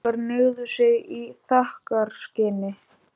Gestir okkar hneigðu sig í þakkarskyni.